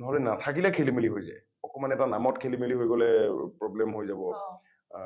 নহলে নাথাকিলে খেলিমেলি হৈ যায় । অকণমান এটা নামত খেলিমেলি হৈ গলে problem হৈ যাব । আ